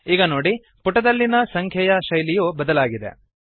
ಈಗ ನೋಡಿ ಪುಟದಲ್ಲಿನ ಸಂಖ್ಯೆಯ ಶೈಲಿಯು ಬದಲಾಗಿದೆ